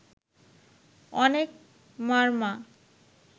অনেক মারমা